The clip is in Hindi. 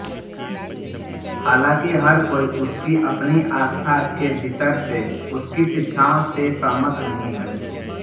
हालांकि हर कोई उसकी अपनी आस्था के भीतर से उसकी शिक्षाओं से सहमत नहीं है